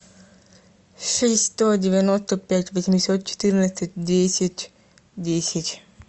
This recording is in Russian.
шесть сто девяносто пять восемьсот четырнадцать десять десять